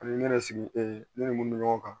An bɛ ne yɛrɛ sigi e ni mun mɛ ɲɔgɔn kan